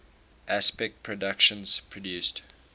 aspect productions produced